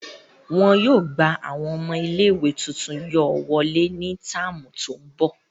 Wọn yóô gba awọn ọmọ ìlé-ìwé tuntun yóò wọle ni táámu to ńbọ.